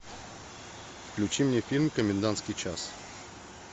включи мне фильм комендантский час